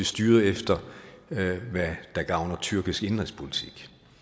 styret efter hvad der gavner tyrkisk indenrigspolitik